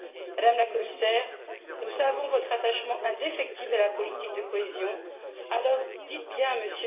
Madame la Commissaire, nous savons votre attachement indéfectible à la politique de cohésion, alors dites bien à M.